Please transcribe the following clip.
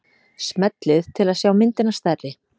Smellið til að sjá myndina stærri.